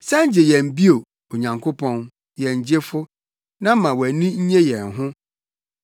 San gye yɛn bio, Onyankopɔn, yɛn Gyefo, na ma wʼani nnye yɛn ho.